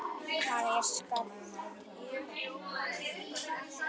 Hann er skáld